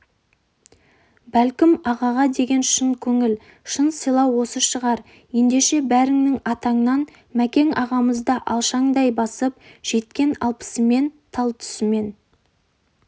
бәлкім ағаға деген шын көңіл шын сыйлау осы шығар ендеше бәріңнің атыңнан мәкең ағамызды алшаңдай басып жеткен алпысымен талтүсімен